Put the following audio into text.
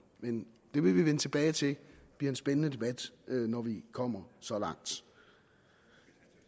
men det vil vi vende tilbage til det bliver en spændende debat når vi kommer så langt